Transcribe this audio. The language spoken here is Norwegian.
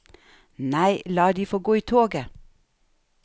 Nei, la de få gå i toget.